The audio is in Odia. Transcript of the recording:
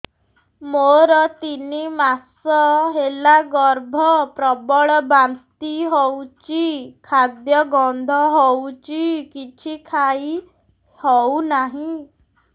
ମୋର ତିନି ମାସ ହେଲା ଗର୍ଭ ପ୍ରବଳ ବାନ୍ତି ହଉଚି ଖାଦ୍ୟ ଗନ୍ଧ ହଉଚି କିଛି ଖାଇ ହଉନାହିଁ